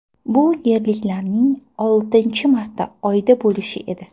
Bu yerliklarning oltinchi marta Oyda bo‘lishi edi.